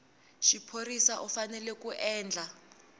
xiphorisa u fanele ku endla